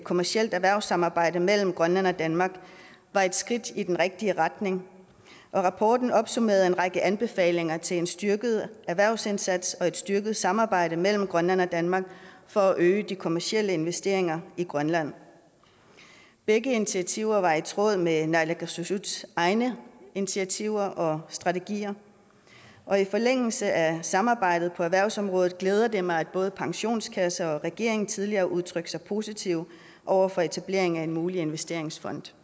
kommercielt erhvervssamarbejde mellem grønland og danmark var et skridt i den rigtige retning og rapporten opsummerede en række anbefalinger til en styrket erhvervsindsats og et styrket samarbejde mellem grønland og danmark for at øge de kommercielle investeringer i grønland begge initiativer var i tråd med naalakkersuisuts egne initiativer og strategier og i forlængelse af samarbejdet på erhvervsområdet glæder det mig at både pensionskasser og regeringen tidligere har udtrykt sig positivt over for etablering af en mulig investeringsfond